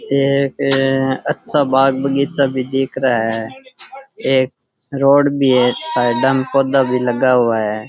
ये एक अच्छा बाग बगीचा भी दिख रा है एक रोड भी है साइडाँ में पौधा भी लगा हुआ है।